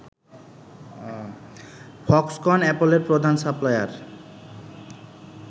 Foxconn অ্যাপলের প্রধান supplier